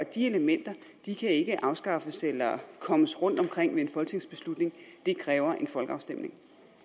de elementer kan ikke afskaffes eller kommes rundt omkring ved en folketingsbeslutning det kræver en folkeafstemning